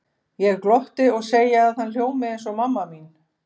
Ég glotti og segi að hann hljómi eins og mamma mín.